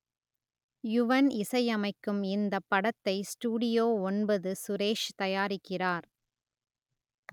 யுவன் இசையமைக்கும் இந்தப் படத்தை ஸ்டுடியோ ஒன்பது சுரேஷ் தயாரிக்கிறார்